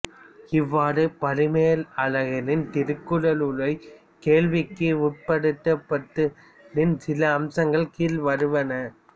இவ்வாறு பரிமேலழகரின் திருக்குறள் உரை கேள்விக்கு உட்படுத்தப்பட்டதின் சில அம்சங்கள் கீழ்வருவன